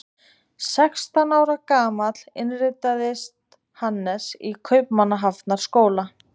Sextán ára gamall innritaðist Hannes í Kaupmannahafnarháskóla.